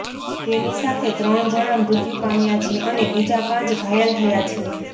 તેની સાથે ત્રણ જણા મૃત્યુ પામ્યા છે અને બીજા પાંચ ઘાયલ થયા છે